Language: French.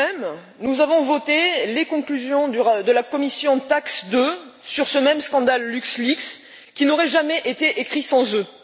Aujourd'hui même, nous avons voté les conclusions de la commission TAXE 2 sur ce même scandale LuxLeaks, qui n'aurait jamais été écrites sans eux.